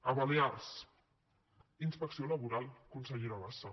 a balears inspecció laboral consellera bassa